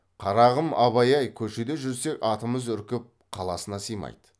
қарағым абай ай көшеде жүрсек атымыз үркіп қаласына сыймайды